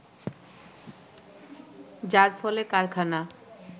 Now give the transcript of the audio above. যার ফলে কারখানা